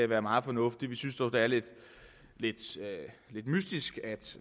være meget fornuftigt vi synes dog det er lidt mystisk at